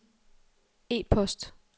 e-post